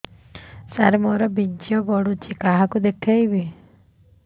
ସାର ମୋର ବୀର୍ଯ୍ୟ ପଢ଼ୁଛି କାହାକୁ ଦେଖେଇବି